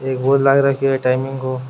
एक बोर्ड लाग रखो है टाइमिग को।